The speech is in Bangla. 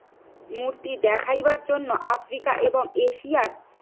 মূর্তি দেখাইবার জন্য আফ্রিকা এবং এশিয়ার